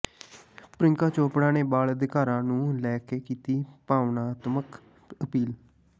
ਪ੍ਰਿਯੰਕਾ ਚੋਪੜਾ ਨੇ ਬਾਲ ਅਧਿਕਾਰਾਂ ਨੂੰ ਲੈ ਕੇ ਕੀਤੀ ਭਾਵਨਾਤਮਕ ਅਪੀਲ